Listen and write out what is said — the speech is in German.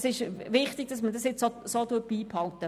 Es ist wichtig, dass man das nun so beibehält.